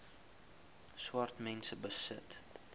swart mense besit